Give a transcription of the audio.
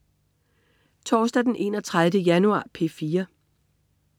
Torsdag den 31. januar - P4: